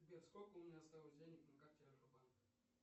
сбер сколько у меня осталось денег на карте альфа банка